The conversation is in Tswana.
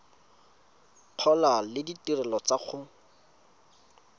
gola le ditirelo tsa go